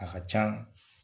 A ka can